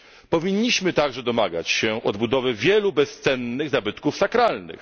Powinniśmy także domagać się odbudowy wielu bezcennych zabytków sakralnych.